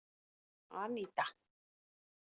Anita